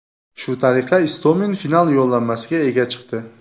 Shu tariqa Istomin final yo‘llanmasiga ega chiqdi.